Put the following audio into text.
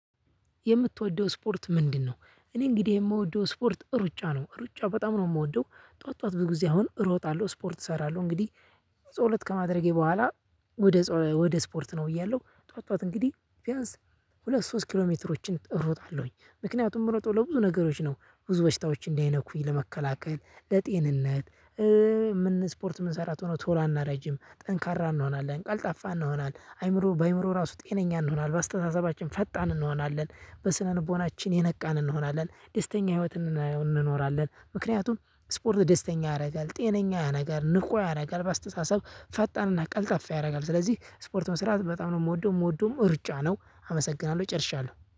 የምትወደው ስፖርት ምንድን ነው? እኔ እንግዲህ እምወደው ስፖርት እሩጫ ነው እሩጫ በጣም ነው እምወደው ጧት ጧት ምን ጊዜም እሮጣለሁ ስፖርት እሰራለሁ እንግድህ ጸሎት ከማድረጌ በኋላ። ወደ ስፖርት ነው ብያለሁ ጧዋት ጧዋት እንግዲህ ቢያንስ ሁለት ሶስት ኪሎ ሜትሮችን እሮጣለሁኝ ምክንያቱም ምሮጠው ለብዙ ነገሮች ነው ብዙ በሽታዎች እንዳይነኩኝ ለመከላከል ለጤንነት። ስፖርት የምንሰራ ከሆነ ቶሎ አናረጅም ጠንካራ እንሆናለን ቀልጣፋ እንሆናለን አይምሮ በአይምሮ ራሱ ጤነኛ እንሆናለን በአስተሳሰባችን ፈጣን እንሆናለን በስነ ልቦናችን የነቃን እንሆናለን ደስተኛ ህይወት። እንኖራለን ምክንያቱም ስፖርት ደስተኛ ያደርጋል ጤነኛ ያረጋል ንቁ ያደርጋል በአስተሳሰብ ፈጣንና ቀልጣፋ ያደርጋል። ስለዚህ ስፖርት መስራት በጣም ነው የምወደው የምወደውም ሩጫ ነው አመሰግናለሁ ጨርሻለሁ